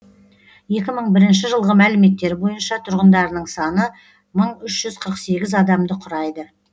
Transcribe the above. екі мың бірінші жылғы мәліметтер бойынша тұрғындарының саны мың үш жүз қырық сегіз адамды құрайды